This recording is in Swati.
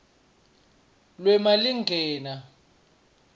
lwemalingena